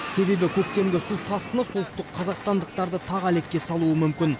себебі көктемгі су тасқыны солтүстік қазақстандықтарды тағы әлекке салуы мүмкін